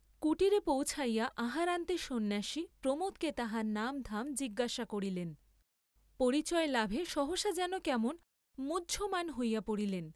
কুটীরে পৌছিয়া আহারান্তে সন্ন্যাসী প্রমোদকে তাহার নাম ধাম জিজ্ঞাসা করিলেন; পরিচয় লাভে সহসা যেন কেমন মুহ্যমান্ হইয়া পড়িলেন।